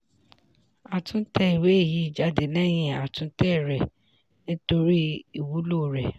a tún tẹ ìwé yìí jáde lẹ́yìn àtúntẹ̀ rẹ̀ nítorí ìwúlò rẹ̀.